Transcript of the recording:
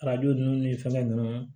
Arajo ninnu ni fɛngɛ ninnu